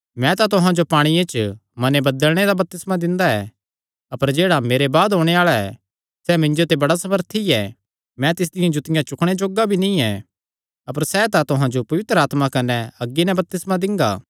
मैं तां तुहां जो पांणिये च मने बदलणे दा बपतिस्मा दिंदा ऐ अपर जेह्ड़ा मेरे बाद ओणे आल़ा ऐ सैह़ मिन्जो ते बड़ा सामर्थी ऐ मैं तिसदियां जुतियां चुकणे जोग्गा भी नीं ऐ अपर सैह़ तां तुहां जो पवित्र आत्मा कने अग्गी नैं बपतिस्मा दिंगा